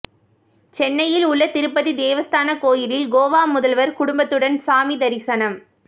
சென்னையில் உள்ள திருப்பதி தேவஸ்தான கோவிலில் கோவா முதல்வர் குடும்பத்துடன் சாமி தரிசனம்